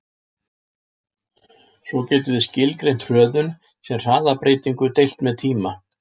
Svo getum við skilgreint hröðun sem hraðabreytingu deilt með tíma.